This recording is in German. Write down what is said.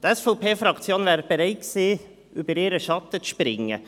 Die SVP-Fraktion wäre bereit gewesen, über ihren Schatten zu springen.